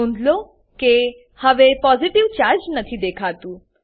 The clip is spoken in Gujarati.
નોંધ લો કે હવે પોસિટીવ ચાર્જ નથી દેખાતું